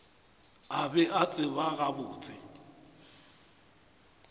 a be a tseba gabotse